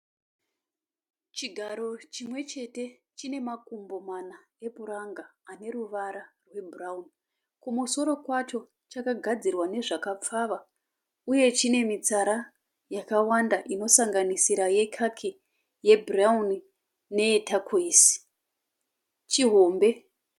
Chigaro chimwechete. Chine makumbo mana epuranga ane ruvara rwebhurauni. Kumusoro kwacho chakagadzirwa nezvakapfava uye chine mitsara yakawanda inosanganisira yekaki, yebhurauni neye takweisi. Chihombe.